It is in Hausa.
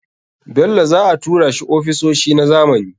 Bello za a tura shi ofisoshi na zamani.